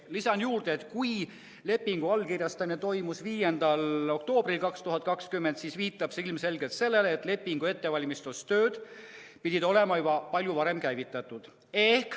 Lisan juurde, et lepingu allkirjastamine toimus 5. oktoobril 2020, aga see viitab ilmselgelt sellele, et lepingu ettevalmistamise tööd pidid olema juba palju varem käivitatud.